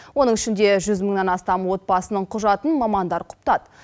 оның ішінде жүз мыңнан астам отбасының құжатын мамандар құптады